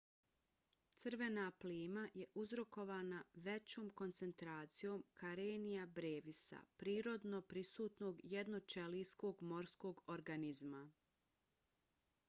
crvena plima je uzrokovana većom koncentracijom karenia brevis-a prirodno prisutnog jednoćelijskog morskog organizma